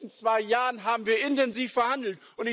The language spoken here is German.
In den letzten zwei Jahren haben wir intensiv verhandelt.